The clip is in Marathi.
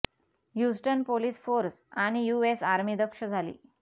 ह्यूस्टन पोलीस फोर्स आणि यु एस आर्मी दक्ष झाली